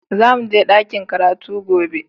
Za mu je dakin karatu gobe